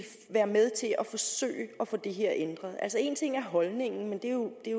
være med til at forsøge at få det her ændret en ting er holdningen men det